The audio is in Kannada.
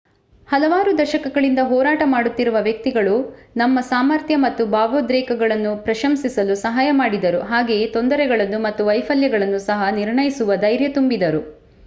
ಹಲವಾರು ದಶಕಗಳಿಂದ ಹೋರಾಟ ಮಾಡುತ್ತಿರುವ ವ್ಯಕ್ತಿಗಳು ನಮ್ಮ ಸಾಮರ್ಥ್ಯ ಮತ್ತು ಭಾವೋದ್ರೇಕಗಳನ್ನು ಪ್ರಶಂಸಿಸಲು ಸಹಾಯ ಮಾಡಿದರು ಹಾಗೆಯೇ ತೊಂದರೆಗಳನ್ನು ಮತ್ತು ವೈಫಲ್ಯಗಳನ್ನು ಸಹ ನಿರ್ಣಯಿಸುವ ಧೈರ್ಯ ತುಂಬಿದರು